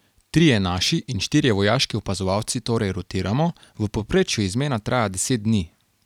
Trije naši in štirje vojaški opazovalci torej rotiramo, v povprečju izmena traja deset dni.